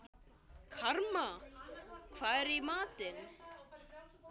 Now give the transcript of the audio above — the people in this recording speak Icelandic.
Karma, hvað er í matinn?